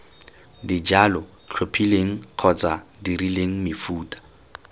dijalo tlhophileng kgotsa dirileng mefuta